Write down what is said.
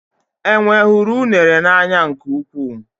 Enwe hụrụ unere n'anya nke ukwuu.